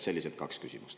Sellised kaks küsimust.